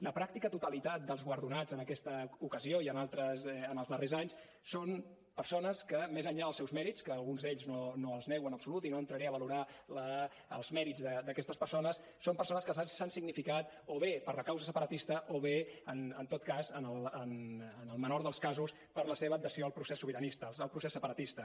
la pràctica totalitat dels guardonats en aquesta ocasió i en altres en els darrers anys són persones que més enllà dels seus mèrits que alguns d’ells no els nego en absolut i no entraré a valorar els mèrits d’aquestes persones s’han significat o bé per la causa separatista o bé en tot cas en el menor dels casos per la seva adhesió al procés sobiranista al procés separatista